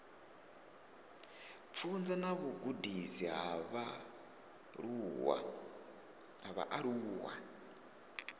pfunzo na vhugudisi ha vhaaluwa